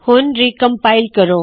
ਹੁਣ ਰੀਕਮਪਾਇਲ ਕਰੋ